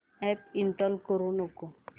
app install करू नको